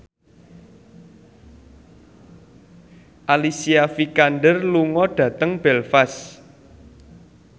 Alicia Vikander lunga dhateng Belfast